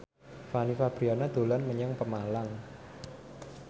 Fanny Fabriana dolan menyang Pemalang